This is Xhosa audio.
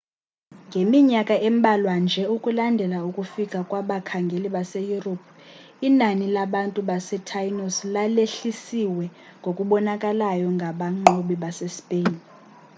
ngeminyakana embalwa nje ukulandela ukufika kwabakhangeli base-europe inani labantu basetainos lalehlesiwe ngokubonakalayo ngabanqobi base-spain